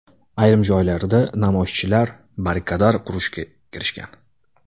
Ayrim joylarda namoyishchilar barrikadar qurishga kirishgan .